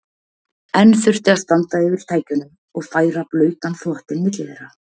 Enn þurfti að standa yfir tækjunum og færa blautan þvottinn milli þeirra.